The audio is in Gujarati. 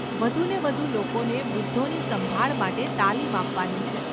વધુને વધુ લોકોને વૃદ્ધોની સંભાળ માટે તાલીમ આપવાની છે.